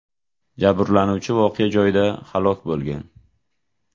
Jabrlanuvchi voqea joyida halok bo‘lgan.